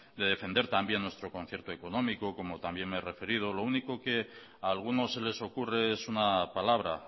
de defender también nuestro concierto económico como también me he referido lo único que a algunos se les ocurre es una palabra